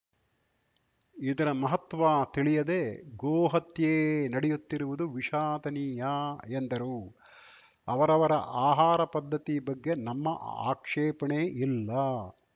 ಇದರ ಮಹತ್ವ ತಿಳಿಯದೆ ಗೋ ಹತ್ಯೆ ನಡೆಯುತ್ತಿರುವುದು ವಿಷಾದನೀಯ ಎಂದರು ಅವರವರ ಆಹಾರ ಪದ್ಧತಿ ಬಗ್ಗೆ ನಮ್ಮ ಆಕ್ಷೇಪಣೆ ಇಲ್ಲ